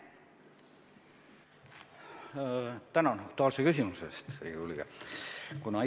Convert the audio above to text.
Tänan aktuaalse küsimuse eest, Riigikogu liige!